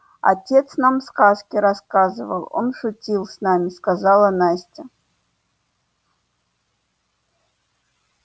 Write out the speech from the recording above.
отец нам сказки рассказывал он шутил с нами сказала настя